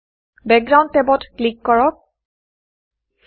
background background টেবত click কৰক